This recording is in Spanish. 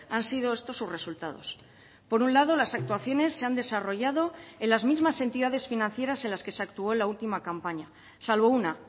han sido estos sus resultados por un lado las actuaciones se han desarrollado en las mismas entidades financieras en las que se actuó en la última campaña salvo una